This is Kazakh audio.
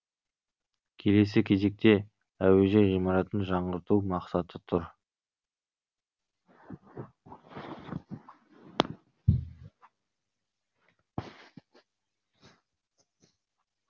келесі кезекте әуежай ғимаратын жаңғырту мақсаты тұр